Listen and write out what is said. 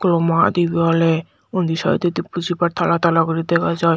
kulo maat ibey oley undi sydodi bujibar tala tala guri dega jaai.